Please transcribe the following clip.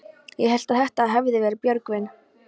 Ég hélt að þetta hefði verið Björgvin.